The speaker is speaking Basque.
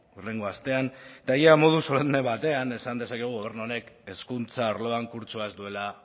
hurrengo astean eta ia modu solemne batean esan dezakegu gobernu honek hezkuntza arloan kurtsoa ez duela